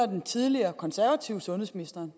den tidligere konservative sundhedsminister